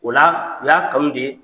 O la u y'a kanu de